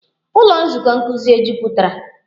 Ụlọ nzukọ nkuzi e jupụtara?